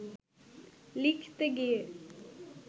লিখতে গিয়ে